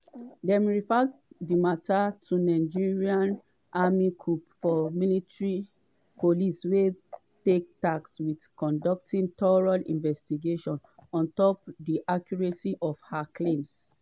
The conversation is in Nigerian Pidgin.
dem refer di mata to di nigerian army corps of military police wey dey tasked wit conducting thorough investigation onto di accuracy of her claims.”